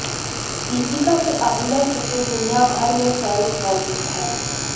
दीपिका के अभिनय के तो दुनियाभर में फैंस मौजूद है